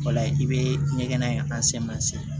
O la i bɛ ɲɛgɛn in